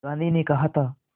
गांधी ने कहा था